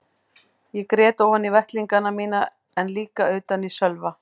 Ég grét ofan í vettlingana mína en líka utan í Sölva.